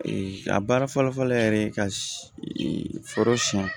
a baara fɔlɔ-fɔlɔ yɛrɛ ye ka foro siɲɛ